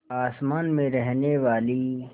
आसमान में रहने वाली